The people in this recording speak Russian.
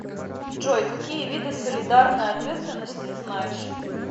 джой какие виды солидарная ответственность ты знаешь